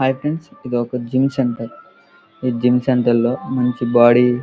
hi friends ఇది ఒక gym centre gym centre లో మంచి బాడీ --